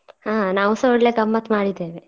ಹಾ ನಾವುಸ ಒಳ್ಳೆ ಗಮ್ಮತ್ತ್ ಮಾಡಿದ್ದೇವೆ.